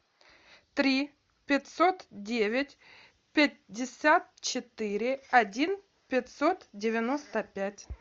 три пятьсот девять пятьдесят четыре один пятьсот девяносто пять